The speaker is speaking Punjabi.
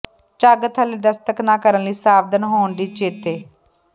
ਝੱਗ ਥੱਲੇ ਦਸਤਕ ਨਾ ਕਰਨ ਲਈ ਸਾਵਧਾਨ ਹੋਣ ਦੀ ਚੇਤੇ